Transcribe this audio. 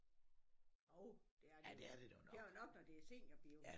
Jo det er det jo det er det jo nok når det er seniorbio